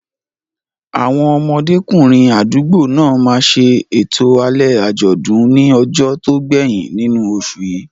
Àwọn ọmọdékùnrin àdúgbò náà máa ṣe ètò alẹ́ àjọ̀dún ní ọjọ́ tó gbẹ̀yìn nínú oṣù yìí.